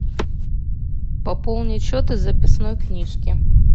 пополнить счет из записной книжки